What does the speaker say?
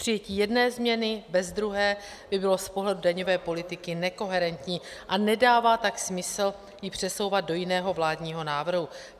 Přijetí jedné změny bez druhé by bylo z pohledu daňové politiky nekoherentní a nedává tak smysl ji přesouvat do jiného vládního návrhu.